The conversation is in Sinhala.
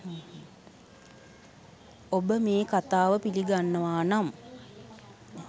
ඔබ මේ කතාව පිලි ගන්නවා නම්